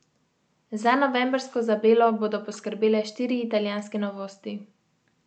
Za novembrsko zabelo bodo poskrbele štiri italijanske novosti.